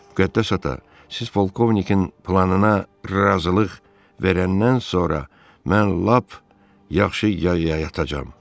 Müqəddəs ata, siz polkovnikin planına razılıq verəndən sonra mən lap yaxşı y-y-yatacağam.